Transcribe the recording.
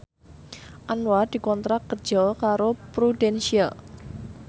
Anwar dikontrak kerja karo Prudential